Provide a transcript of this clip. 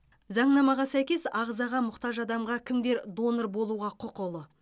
заңнамаға сәйкес ағзаға мұқтаж адамға кімдер донор болуға құқылы